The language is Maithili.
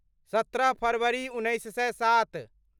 सत्रह फरवरी उन्नैस सए सात